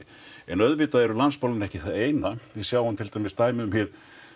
en auðvitað eru landsmálin ekki það eina við sjáum til dæmis dæmi um hið